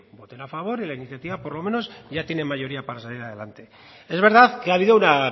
voten a favor y la iniciativa por lo menos ya tiene mayoría para salir adelante es verdad que ha habido una